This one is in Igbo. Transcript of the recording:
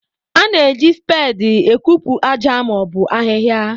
A na-eji speedị ekupu aja ma ọ bụ ahịhịa.